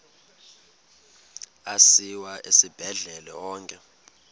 asiwa esibhedlele onke